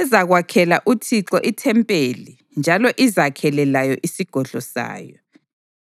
ezakwakhela uThixo ithempeli njalo izakhele layo isigodlo sayo.